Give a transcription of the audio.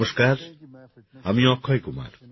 নমস্কার আমি অক্ষয় কুমার